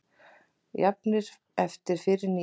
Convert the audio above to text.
Jafnir eftir fyrri níu